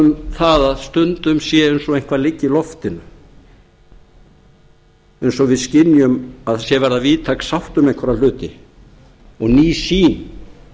það eins og stundum sé eins og eitthvað liggi í loftinu eins og við skynjum að það sé að verða víðtæk sátt um einhverja hluti og ný sýn